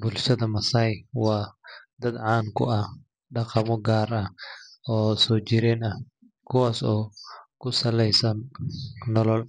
Bulshada Maasai waa dad caan ku ah dhaqammo gaar ah oo soo jireen ah, kuwaas oo ku saleysan nolol